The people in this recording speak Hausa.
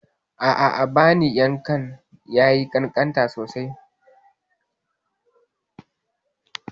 A'a, abin yankan ya yi ƙanƙanta sosai.